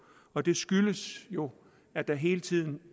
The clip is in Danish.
og det skyldes jo at der hele tiden